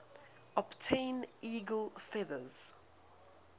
obtain eagle feathers